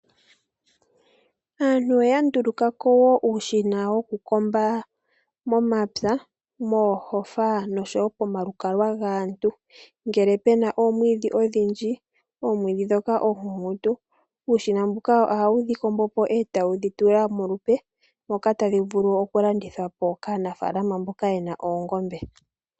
Aantu oya ndulukako woo uushina wo ku komba momapya, moohofa nosho woo komalukalwa gaantu ngele pena omwiidhi odhindji, omwiidhi ndhoka omikukutu, uushina mbuka oga wu dhi kombo pi eta wu dhi tula molupe moks tayi vulu oku yi landithapo kaanafaalama mboka yena oongombe.